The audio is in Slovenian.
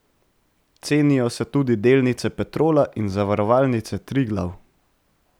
Cenijo se tudi delnice Petrola in Zavarovalnice Triglav.